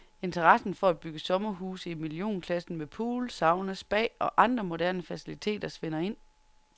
Interessen for at bygge sommerhuse i millionklassen med pool, sauna, spa og andre moderne faciliteter svinder ind.